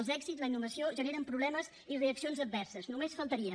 els èxits la innovació generen problemes i reaccions adverses només faltaria